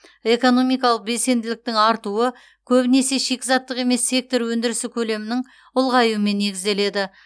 экономикалық белсенділіктің артуы көбінесе шикізаттық емес сектор өндірісі көлемінің ұлғаюымен негізделеді